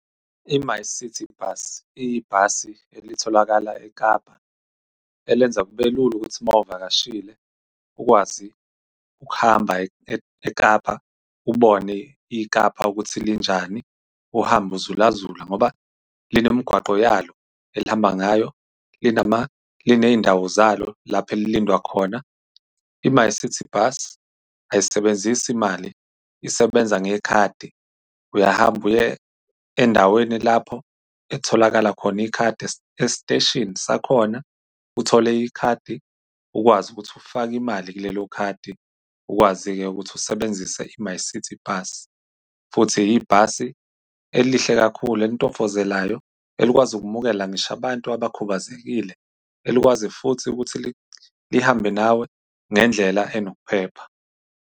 i-MyCiti Bus, iyibhasi elitholakala eKapa elenza kube lula ukuthi uma uvakashile ukwazi ukuhamba eKapa, ubone iKapa ukuthi linjani uhambe uzula-zula, ngoba line mgwaqo yalo elihamba ngayo. Liney'ndawo zalo lapho elilindwa khona. i-MyCiti Bus ayisebenzisi mali isebenza ngekhadi. Uyahamba, uye endaweni lapho etholakala khona ikhadi esiteshini sakhona. Uthole ikhadi ukwazi ukuthi ufake imali kulelo khadi ukwazi-ke ukuthi usebenzise i-MyCiti Bus. Futhi ibhasi elihle kakhulu elintofozelayo, elikwazi ukumukela ngisho abantu abakubazekile, elikwazi futhi ukuthi lihambe nawe ngendlela enokuphepha.